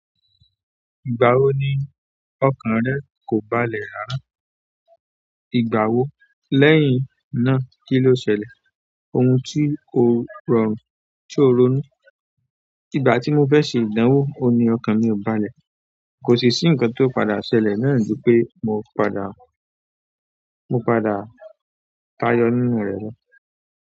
Ìgbà wo ni ọkàn rẹ kò balẹ̀ rárá? Ìgbà wo? Lẹ́yìn náà kíló ṣẹlẹ̀? Ohun ti o rọrùn, ti o ronu ìgbà tí mo fẹ́ ṣe ìdánwò, ohun ní ọkàn mi ò balẹ̀. Kò sì sí ǹkan tó padà ṣẹlẹ̀ náà ju pé mo padà, mo padà tayọ nínú rẹ̀ lọ.